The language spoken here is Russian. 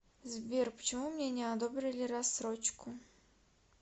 сбер почему мне не одобрили рассрочку